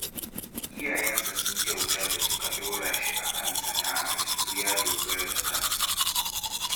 Iyayensa sun kyauta da suka ɗora shi a kan sana'a yanzu ya dogara da kansa